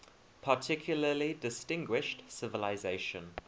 particularly distinguished civilization